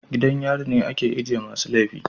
Gidan yari ne ake ajiye masu laifi